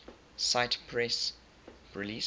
cite press release